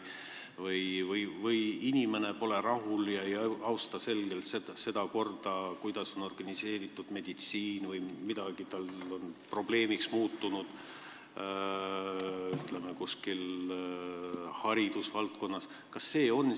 Vahel pole inimene rahul ega austa selgelt seda korda, kuidas on organiseeritud meditsiinisüsteem, või on tema jaoks hariduse valdkonnas midagi probleemiks muutunud.